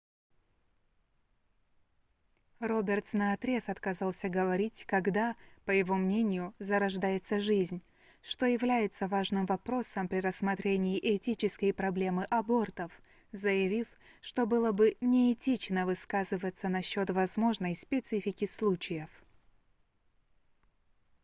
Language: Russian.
робертс наотрез отказался говорить когда по его мнению зарождается жизнь что является важным вопросом при рассмотрении этической проблемы абортов заявив что было бы неэтично высказываться насчёт возможной специфики случаев